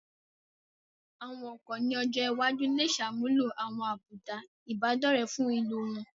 Àwọn ọkọ̀ ní ọjọ́ iwájú lè ṣàmúlò àwọn àbùdá Ìbádọ́rẹ̀ẹ́ fún ìlò wọn